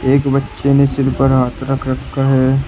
एक बच्चे ने सिर पर हाथ रख रखा है।